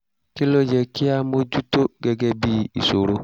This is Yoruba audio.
kí ló yẹ kí a mójú tó gẹ́gẹ́ bí ìṣòro?